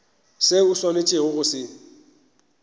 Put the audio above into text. seo o swanetšego go se